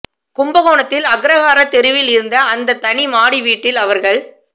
கும்பகோணத்தில் அக்ரஹார தெருவில் இருந்த அந்த தனி மாடி வீட்டில் அவர்கள்